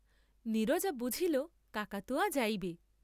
নীরজা বুঝিল কাকাতুয়া যাইবে।